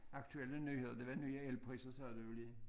Aktuelle nyheder det var nye elpriser sagde du jo lige